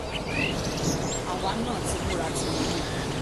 àwa náà ti múra tiwọn mọ́ ọn